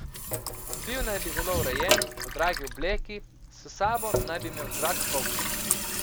Bil naj bi zelo urejen, v dragi obleki, s sabo naj bi imel drag kovček.